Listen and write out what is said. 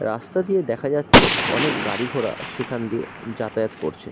রাস্তা দিয়ে দেখা যাচ্ছে অনেক গাড়ি ঘোড়া সেখান দিয়ে যাতায়াত করছে ।